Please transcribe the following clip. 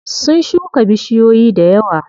Sun shuka bishiyoyi dayawa.